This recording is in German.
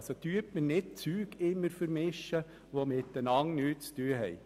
Vermischen Sie also nicht immer Dinge, die nichts miteinander zu tun haben.